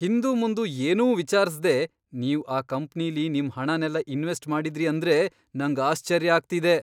ಹಿಂದುಮುಂದು ಏನೂ ವಿಚಾರ್ಸ್ದೇ ನೀವ್ ಆ ಕಂಪ್ನಿಲಿ ನಿಮ್ ಹಣನೆಲ್ಲ ಇನ್ವೆಸ್ಟ್ ಮಾಡಿದ್ರಿ ಅಂದ್ರೆ ನಂಗ್ ಆಶ್ಚರ್ಯ ಆಗ್ತಿದೆ.